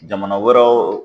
Jamana wɛrɛw.